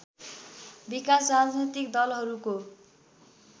विकास राजनीतिक दलहरूको